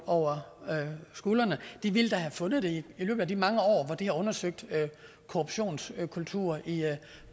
over skulderen ville have fundet det i løbet af de mange år hvor de har undersøgt korruptionskulturer i